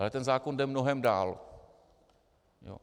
Ale ten zákon jde mnohem dál.